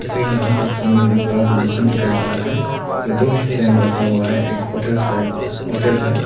तस्वीर में हमको सामने में एक बड़ा सा दुकान दिखाई पा रहा है जो दो हिस्से में रखा हुआ है एक होटल साइड होटल है।